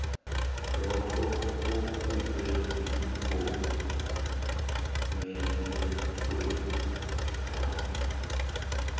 lokho okube yipumelelwakho